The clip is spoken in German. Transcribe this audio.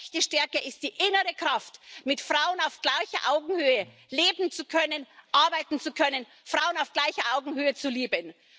Echte Stärke ist die innere Kraft, mit Frauen auf gleicher Augenhöhe leben zu können, arbeiten zu können, Frauen auf gleicher Augenhöhe zu lieben.